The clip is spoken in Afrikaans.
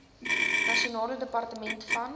nasionale departement van